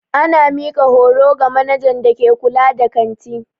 Ana mika horo ga manajan da ke kulla da kanti.